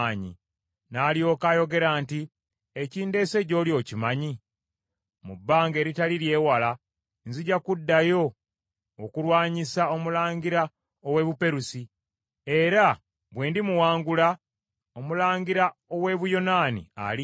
N’alyoka ayogera nti, “Ekindeese gy’oli okimanyi? Mu bbanga eritali ly’ewala, nzija kuddayo okulwanyisa omulangira ow’e Buperusi, era bwe ndimuwangula, omulangira ow’e Buyonaani alijja.